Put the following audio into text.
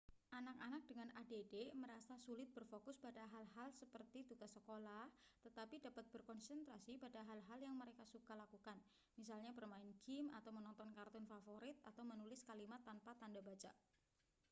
anak-anak dengan add merasa sulit berfokus pada hal-hal seperti tugas sekolah tetapi dapat berkonsentrasi pada hal-hal yang mereka suka lakukan misalnya bermain gim atau menonton kartun favorit atau menulis kalimat tanpa tanda baca